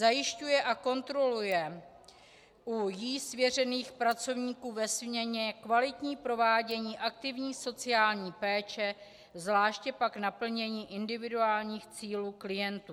Zajišťuje a kontroluje u jí svěřených pracovníků ve směně kvalitní provádění aktivní sociální péče, zvláště pak naplnění individuálních cílů klientů.